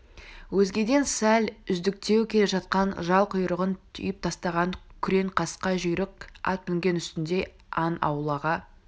өзгеден сәл үздіктеу келе жатқан жал-құйрығын түйіп тастаған күрең қасқа жүйрік ат мінген үстінде аң аулауға